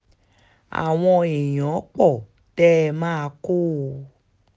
àwọn èèyàn pọ̀ tẹ́ ẹ máa kọ́ ọ ọ